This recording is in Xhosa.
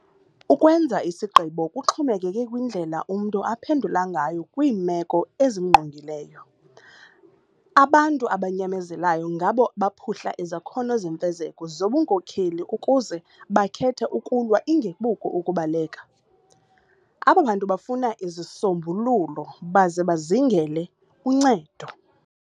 Ukwenza isigqibo kuxhomekeke kwindlela umntu aphendula ngayo kwiimeko ezimngqongileyo. Abantu abanyamezelayo ngabo baphuhla izakhono zemfezeko zobunkokeli ukuze bakhethe 'ukulwa' ingekuko 'ukubaleka'. Aba bantu bafuna izisombululo baze bazingele uncedo.